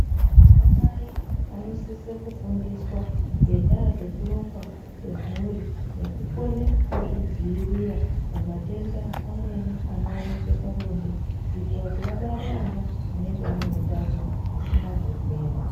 Anamai anosise kufundiswa ngendaa dzekurongwa kwemhuri nekukone kuzvidziirira pamatenda amweni anooneke pabonde kuitira kuti abare ana aneutano anenge asina zvirwere.